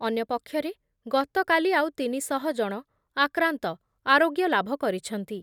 ଅନ୍ୟପକ୍ଷରେ ଗତକାଲି ଆଉ ତିନି ଶହ ଜଣ ଆକ୍ରାନ୍ତ ଆରୋଗ୍ୟ ଲାଭ କରିଛନ୍ତି ।